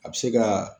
A bɛ se ka